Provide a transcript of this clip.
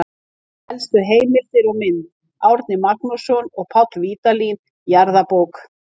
Helstu heimildir og mynd: Árni Magnússon og Páll Vídalín, Jarðabók.